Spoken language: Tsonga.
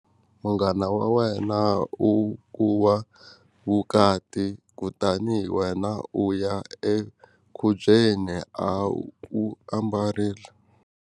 Munghana wa wena u kuwa vukati kutani wena u ya enkhubyeni a wu ambarile.